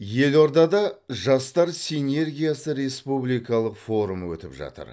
елордада жастар синергиясы республикалық форумы өтіп жатыр